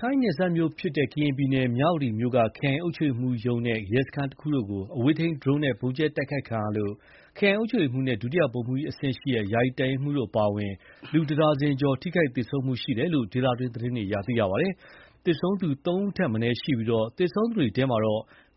ထိုင်းနယ်စပ်မြို့ဖြစ်တဲ့ ကရင်ပြည်နယ်မြ၀တီမြို့က ခရိုင်အုပ်ချုပ်ရေးမှူးရုံးနဲ့ ရဲစခန်းတခုတို့ကို အဝေးထိန်းဒရုန်းနဲ့ ဗုံးကြဲတိုက်ခိုက်ခံရလို့ ခရိုင်အုပ်ချုပ်ရေးမှူးနဲ့ ဒုတိယဗိုလ်မှူးကြီးအဆင့် ယာယီတပ်ရင်းမှူးတို့အပါအဝင် လူတဒါဇင်ကျော် ထိခိုက်သေဆုံးခဲ့တယ်လို့ ဒေသတွင်းသတင်းတွေအရ သိရပါတယ်။ သေဆုံးသူ သုံးဦးထက်မနည်းရှိပြီး သေဆုံးသူတွေထဲ